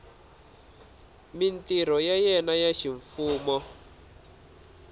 mintirho ya yena ya ximfumo